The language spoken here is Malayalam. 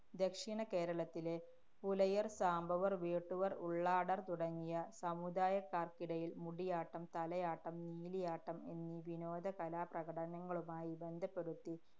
ദക്ഷിണ കേരളത്തിലെ പുലയര്‍, സാംബവര്‍, വേട്ടുവര്‍, ഉള്ളാടര്‍ തുടങ്ങിയ സമുദായക്കാര്‍ക്കിടയില്‍ മുടിയാട്ടം, തലയാട്ടം, നീലിയാട്ടം എന്നീ വിനോദകലാപ്രകടനങ്ങളുമായി ബന്ധപ്പെടുത്തി